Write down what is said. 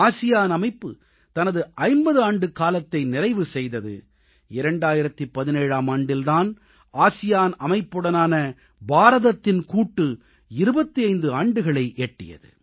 ASEAN அமைப்பு தனது 50 ஆண்டுக்காலத்தை நிறைவு செய்தது 2017ஆம் ஆண்டில் தான் ஆசியான் அமைப்புடனான பாரதத்தின் கூட்டு 25 ஆண்டுகளை எட்டியது